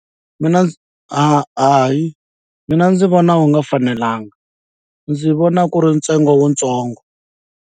Mina ndzi ha hayi mina ndzi vona wu nga fanelanga ndzi vona ku ri ntsengo wutsongo.